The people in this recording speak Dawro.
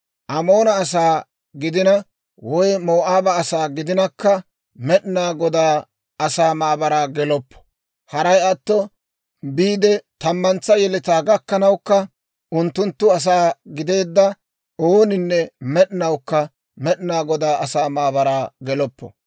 «Amoona asaa gidina, woy Moo'aaba asaa gidinakka, Med'inaa Godaa asaa maabaraa geloppo; haray atto biide tammantsa yeletaa gakkanawukka, unttunttu asaa gideedda ooninne med'inawukka Med'inaa Godaa asaa maabaraa geloppo.